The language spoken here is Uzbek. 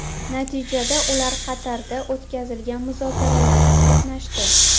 Natijada ular Qatarda o‘tkazilgan muzokaralarda qatnashdi.